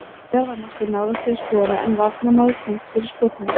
Veigar var nokkuð nálægt því að skora en varnarmaður komst fyrir skot hans.